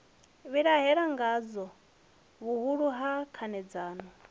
vhilahela ngadzo vhuhulu ha khanedzano